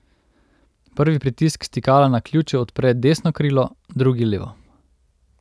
Prvi pritisk stikala na ključu odpre desno krilo, drugi levo.